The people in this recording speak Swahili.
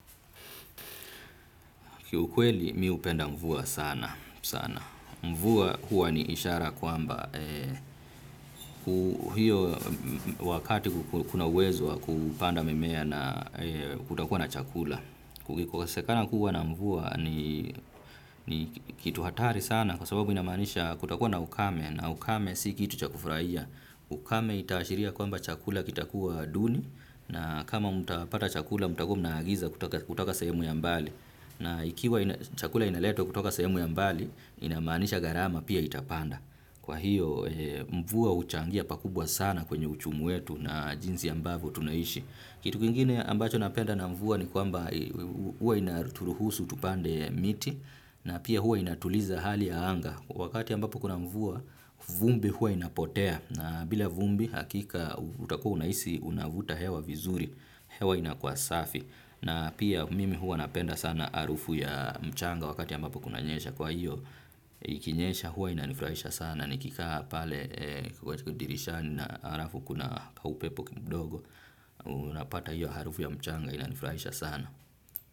Kiukweli mimi hupenda mvua sana. Mvua huwa ni ishara kwamba hiyo wakati kuna uwezo kupanda mimea na kutakuwa na chakula. Kukikosekana kuwa na mvua ni kitu hatari sana kwa sababu inamaanisha kutakuwa na ukame na ukame si kitu cha kufurahia. Ukame itashiria kwamba chakula kitakuwa duni na kama mtapata chakula mtakuwa mnaagiza kutaka sehemu ya mbali. Na ikiwa chakula inaletwa kutoka sehemu ya mbali, inamaanisha gharama pia itapanda. Kwa hiyo, mvua huchangia pakubwa sana kwenye uchumi wetu na jinsi ambavyo tunaishi. Kitu kwingine ambacho napenda na mvua ni kwamba huwa inaturuhusu tupande miti na pia huwa inatuliza hali ya anga. Wakati ambapo kuna mvua, vumbi huwa inapotea na bila vumbi hakika utakuwa unahisi unavuta hewa vizuri, hewa inakuwa safi. Na pia mimi huwa napenda sana harufu ya mchanga wakati ya ambapo kunanyesha kwa hiyo ikinyesha huwa inanifurahisha sana nikikaa pale dirishani na alafu kuna kaupepo kidogo. Unapata hiyo harufu ya mchanga inanifurahisha sana.